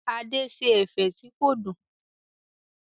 Adé ṣe ẹ̀fẹ̀ tí kò dùn.